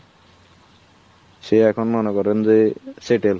সে এখন মনে করেন যে settle